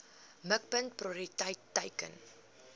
mikpunt prioriteit teiken